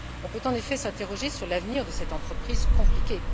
On peut en effet s'interroger sur l'avenir de cette entreprise compliquée.